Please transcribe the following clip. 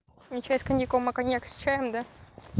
не чай с коньяком а коньяк с чаем да